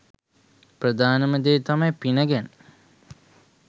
ප්‍රධානම දේ තමයි පින ගැන